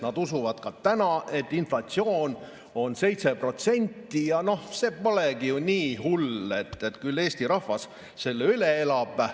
Nad usuvad ka täna, et inflatsioon on 7% ja noh, see polegi ju nii hull, küll Eesti rahvas selle üle elab.